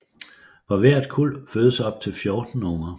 For hvert kuld fødes op til 14 unger